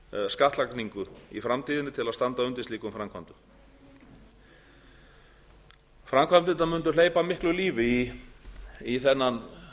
skattlagningu í framtíðinni til að standa undir slíkum framkvæmdum framkvæmdirnar mundu hleypa miklu lífi í þennan